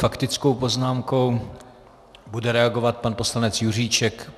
Faktickou poznámkou bude reagovat pan poslanec Juříček.